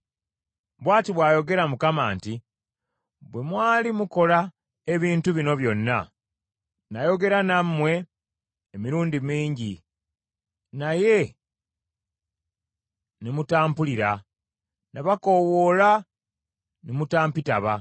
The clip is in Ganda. Bw’ati bw’ayogera Mukama nti, Bwe mwali mukola ebintu bino byonna, nayogera nammwe emirundi mingi naye ne mutampulira; nabakoowoola ne mutampitaba.